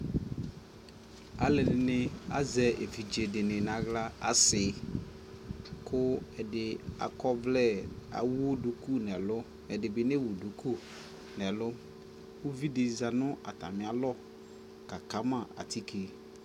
alʋɛdini azɛ ɛvidzɛ dini nʋ ala, asii kʋ ɛdi akɔ ɔvlɛ, ɛwʋ dʋkʋ nʋ ɛlʋ ɛdibi nɛwʋ dʋkʋ nʋ ɛlʋ, ʋvidi zanʋ atami alɔ ka kama atikè